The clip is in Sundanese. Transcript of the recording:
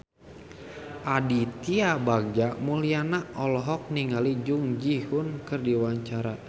Aditya Bagja Mulyana olohok ningali Jun Ji Hyun keur diwawancara